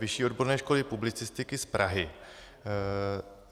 Vyšší odborné školy publicistiky z Prahy.